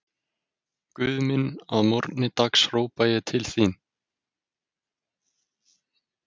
Nonni Minn í Þór Fallegasta knattspyrnukonan?